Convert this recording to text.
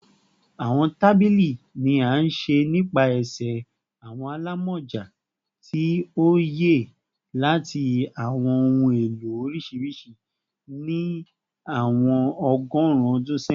Awọn tabili ni a ṣe nipasẹ awọn alamọja ti oye lati awọn ohun elo oriṣiriṣi ni awọn ọgọrun ọdun sẹyin